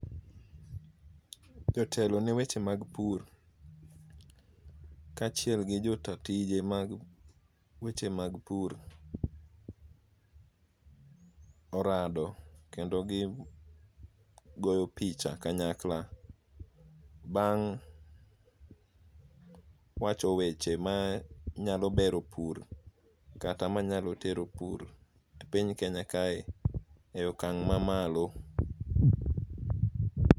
Jotelo ne weche mag pur kaachiel gi jo ta tije mag weche mag pur. Orado kendo gigoyo picha kanyakla bang' wacho weche ma nyalo bero pur, kata ma nyalo tero pur e piny Kenya kae e okang' ma malo.